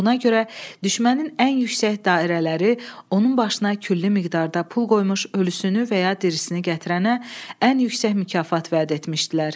Buna görə düşmənin ən yüksək dairələri onun başına külli miqdarda pul qoymuş, ölüsünü və ya dirisini gətirənə ən yüksək mükafat vəd etmişdilər.